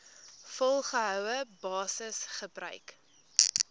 volgehoue basis gebruik